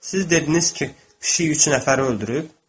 Siz dediniz ki, pişik üç nəfəri öldürüb?